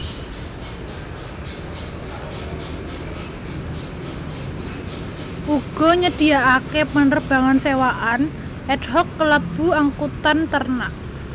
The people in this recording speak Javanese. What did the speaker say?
Uga nyediakaké penerbangan sewaan ad hoc kalebu angkutan ternak